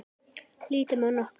Lítum á nokkra.